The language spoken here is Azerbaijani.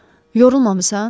Yorulmamısan?